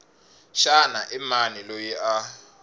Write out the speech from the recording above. xana i mani loyi a